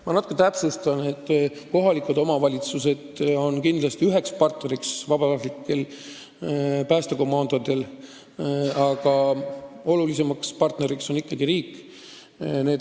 Ma natuke täpsustan: ka kohalikud omavalitsused on kindlasti vabatahtlikele päästekomandodele partneriks, aga kõige olulisem partner on ikkagi riik.